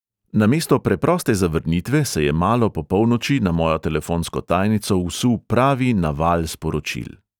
Namesto preproste zavrnitve se je malo po polnoči na mojo telefonsko tajnico vsul pravi naval sporočil.